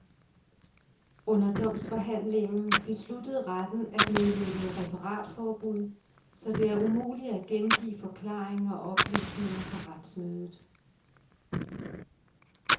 Under domsforhandlingen besluttede retten at nedlægge referatforbud, så det er umuligt at gengive forklaringer og oplysninger fra retsmødet.